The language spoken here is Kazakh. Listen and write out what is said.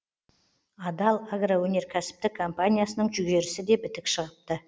адал агроөнеркәсіптік компаниясының жүгерісі де бітік шығыпты